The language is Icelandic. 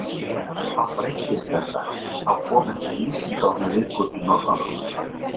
Þá breyttist þetta, þá kom ekki ísing á hann lengur í norðanáttunum.